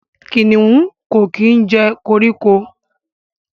kìnìún Ko kí jẹ koríko.